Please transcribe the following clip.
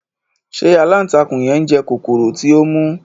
Se alántakùn yen njẹ kokoro ti o mu?